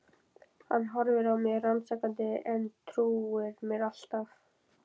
Hann horfir á mig rannsakandi en trúir mér alltaf.